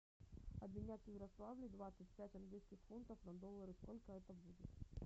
обменять в ярославле двадцать пять английских фунтов на доллары сколько это будет